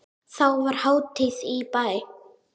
Þá var hátíð í bæ.